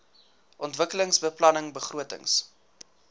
ontwikkelingsbeplanningbegrotings